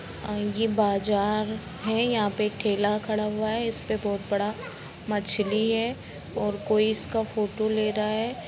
ये बाज़ार है यहाँ पे ठेला खड़ा हुआ है इस्पे बहुत बड़ा मछली है और कोई इसका फोटो ले रहा है।